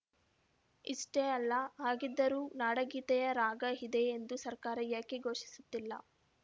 ಇಷ್ಟೆಲ್ಲ ಆಗಿದ್ದರೂ ನಾಡಗೀತೆಯ ರಾಗ ಇದೇ ಎಂದು ಸರ್ಕಾರ ಯಾಕೆ ಘೋಷಿಸುತ್ತಿಲ್ಲ